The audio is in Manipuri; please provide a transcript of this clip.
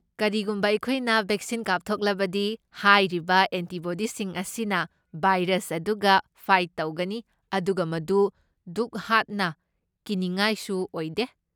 ꯀꯔꯤꯒꯨꯝꯕ ꯑꯩꯈꯣꯏꯅ ꯕꯦꯛꯁꯤꯟ ꯀꯥꯞꯊꯣꯛꯂꯕꯗꯤ, ꯍꯥꯏꯔꯤꯕ ꯑꯦꯟꯇꯤꯕꯣꯗꯤꯁꯤꯡ ꯑꯁꯤꯅ ꯚꯥꯏꯔꯁ ꯑꯗꯨꯒ ꯐꯥꯏꯠ ꯇꯧꯒꯅꯤ ꯑꯗꯨꯒ ꯃꯗꯨ ꯗꯨꯛ ꯍꯥꯛꯅ ꯀꯤꯅꯤꯉꯥꯏꯁꯨ ꯑꯣꯏꯗꯦ꯫